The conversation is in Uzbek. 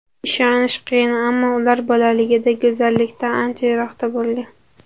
Ishonish qiyin, ammo ular bolaligida go‘zallikdan ancha yiroqda bo‘lgan.